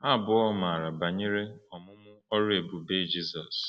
Ha abụọ maara banyere ọmụmụ ọrụ ebube Jizọs.